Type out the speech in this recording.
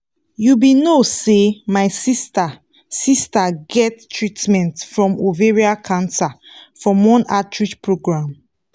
you be no say my sister sister get treatment from ovarian cancer from one outreach program